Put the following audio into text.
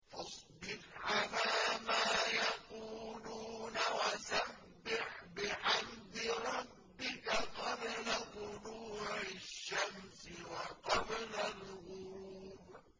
فَاصْبِرْ عَلَىٰ مَا يَقُولُونَ وَسَبِّحْ بِحَمْدِ رَبِّكَ قَبْلَ طُلُوعِ الشَّمْسِ وَقَبْلَ الْغُرُوبِ